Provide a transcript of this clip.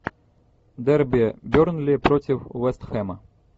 дерби бернли против вест хэма